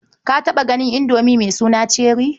Ka taɓa ganin Indomi mai suna Cherrie?